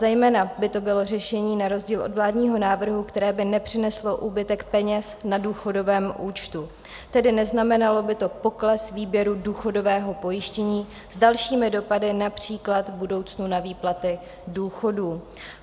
Zejména by to bylo řešení, na rozdíl od vládního návrhu, které by nepřineslo úbytek peněz na důchodovém účtu, tedy neznamenalo by to pokles výběru důchodového pojištění s dalšími dopady, například v budoucnu na výplaty důchodů.